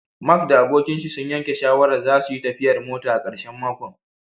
Mark da abokinshi sun yanke shawarar zasuyi tafiyar mota a karshen makon